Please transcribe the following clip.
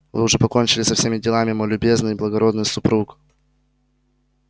вы уже покончили со всеми делами мой любезный и благородный супруг